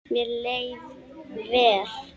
Mér leið vel.